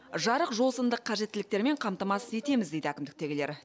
жарық жол сынды қажеттіліктермен қамтамасыз етеміз дейді әкімдікітегілер